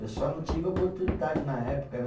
Eu só não tive oportunidade na época, né.